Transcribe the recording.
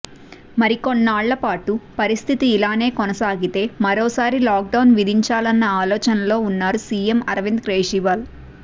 మరికొన్నాళ్లపాటు పరిస్థితి ఇలానే కొనసాగితే మరోసారి లాక్డౌన్ విధించాలన్న ఆలోచనలో ఉన్నారు సీఎం అరవింద్ కేజ్రీవాల్